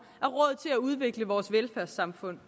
er udvikle vores velfærdssamfund